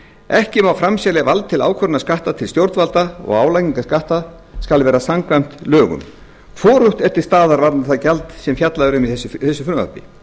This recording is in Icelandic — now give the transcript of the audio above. ekki má framselja vald til ákvörðunar skatta til stjórnvalda og álagning skatta skal vera samkvæmt lögum hvorugt er til staðar varðandi það gjald sem fjallað er um í þessu frumvarpi